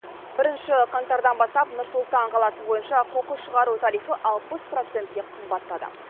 бірінші қаңтардан бастап нұр сұлтан қаласы бойынша қоқыс шығару тарифі алпыс процентке қымбаттады